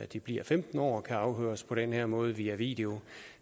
de bliver femten år kan afhøres på den her måde via video